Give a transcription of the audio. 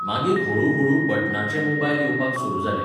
मागीर हळू हळू बटनाचे मोबायल येवपाक सुरू जाले.